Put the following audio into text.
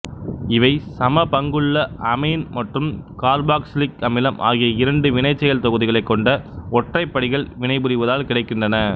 இவை சம பங்குள்ள அமீன் மற்றும் காா்பாக்சிலிக் அமிலம் ஆகிய இரண்டு வினைசெயல் தொகுதிகளைக் கொண்ட ஒற்றைப்படிகள் வினைபுரிவதால் கிடைக்கின்றன